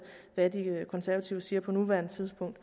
hvad de konservative siger på nuværende tidspunkt